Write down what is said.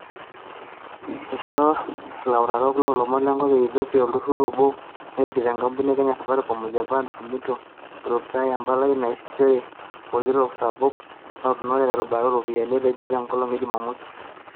Ishoo ilautarok loo lomon le nkop e Ethiopia olturur obo narikito enkampuni e Kenya Safaricom o Japan's Sumitomo, Brook Taye empalai naasishore, olkitok sapuk lautaroni te rubata o ropiyiani, etejo te nkolong e Jumamosi.